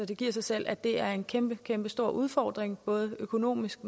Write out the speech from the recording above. det giver selv at det er en kæmpe kæmpe stor udfordring både økonomisk